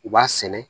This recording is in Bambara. U b'a sɛnɛ